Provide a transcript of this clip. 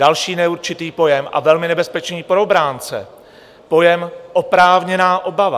Další neurčitý pojem, a velmi nebezpečný pro obránce, pojem oprávněná obava.